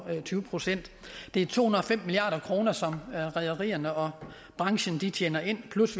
tyve procent det er to hundrede og fem milliard kr som rederierne og branchen tjener ind plus